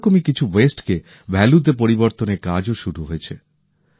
সেরকমই কিছু জঞ্জালকে মূল্যবান পণ্যে পরিবর্তনের কাজও শুরু হয়েছে